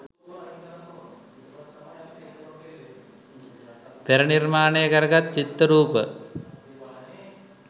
පෙර නිර්මාණයකරගත් චිත්ත රූප